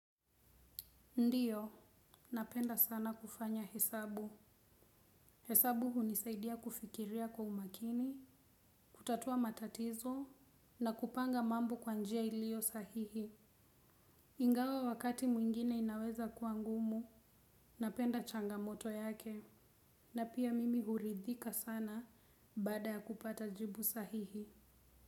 Ndiyo, napenda sana kufanya hesabu. Hesabu hunisaidia kufikiria kwa umakini, kutatua matatizo, na kupanga mambo kwa njia iliyosahihi. Ingawa wakati mwingine inaweza kuwa ngumu, napenda changamoto yake. Na pia mimi huridhika sana baada ya kupata jibu sahihi.